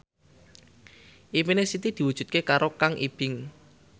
impine Siti diwujudke karo Kang Ibing